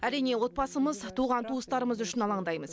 әрине отбасымыз туған туыстарымыз үшін алаңдаймыз